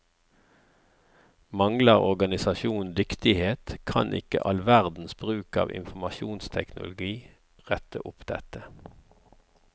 Mangler organisasjonen dyktighet, kan ikke all verdens bruk av informasjonsteknologi rette opp dette.